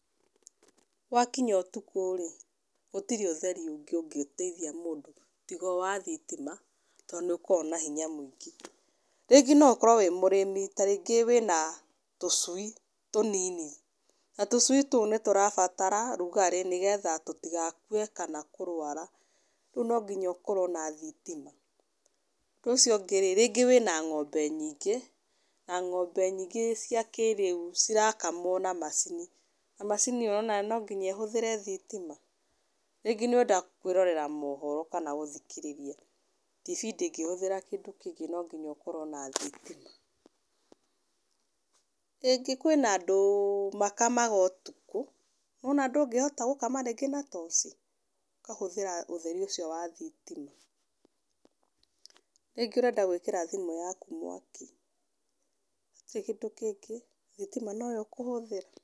Wakinya ũtukũ rĩ, gũtirĩ ũtheri ũngĩ ũngĩteithia mũndũ, tiga o wa thitima, to nĩ ũkoragwo na hinya mũingĩ. Rĩngĩ no ũkorwo wĩ mũrĩmi, tarĩngĩ wĩna tũcui tũnini. Na tũcui tũu nĩ tũrabatara rũgarĩ nĩgetha tũtigakue, kana kũrwara. Rĩu no nginya ũkorwa na thitima. Ũndũ ũcio ũngĩ rĩ, rĩngĩ wĩna ng'ombe nyingĩ, na ng'ombe nyingĩ cia kĩrĩu, cirakamwo na macini. Na macini ĩyo nĩwona no nginya ĩhũthĩre thitima. Rĩngĩ nĩ ũrenda kwĩrorera mohoro kana gũthikĩrĩria ibindi ndũngĩhũthĩra kĩndũ kĩngĩ no nginya ũkorwo na thitima. Rĩngĩ kwĩna andũ makamaga ũtukũ, nĩwona ndũngĩhota gũkama rĩngĩ na toci, ũkahũthĩra ũtheri ũcio wa thitima. Rĩngĩ ũrenda gwĩkĩra thimũ yaku mwaki-inĩ gũtirĩ kĩndũ kĩngĩ thitima no yo ũkũhũthĩra.